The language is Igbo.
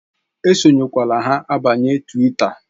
E sonyekwa ha abanyela Twita!